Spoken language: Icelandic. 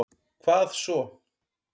hvað svo?